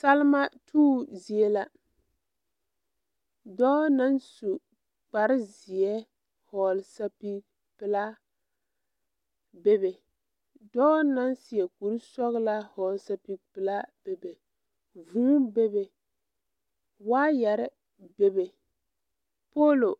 Salima tuubo zie la dɔɔ naŋ su kparezeɛ vɔɔle sɛpige pelaa bebe dɔɔ naŋ seɛ kurisɔglaa vɔɔle sɛpige pelaa bebe vūū bebe waayarre bebe poolo